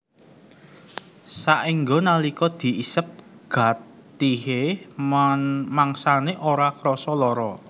Saéngga nalika diisep gatihé mangsané ora krasa lara